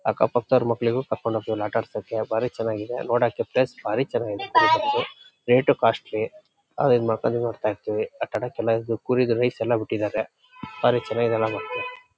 ಅಕ್ಕಪಕ್ಕದವರ ಮಕ್ಕಳಿಗೂ ಕರ್ಕೊಂಡ್ ಹೋಗ್ತಿವಿ ಆಲ್ ಆಟ ಆಡ್ಸೋಕೆ ಭಾರಿ ಚೆನ್ನಾಗಿದೆ ನೋಡೋಕೆ ಪ್ಲೇಸ್ ಭಾರಿ ಚೆನ್ನಾಗಿದೆ. ರೇಟು ಕಾಸ್ಟ್ಲಿ ನೋಡ್ತಾ ಇರ್ತಿವಿ. ಆಟ ಆಡೋಕೆ ಎಲ್ಲಾ ಇರೋದು ಬಿಟ್ಟಿದಾರೆ. ಭಾರಿ ಚೆನ್ನಾಗಿದೆ --